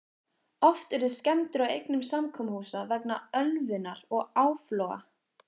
Oft urðu skemmdir á eignum samkomuhúsa vegna ölvunar og áfloga.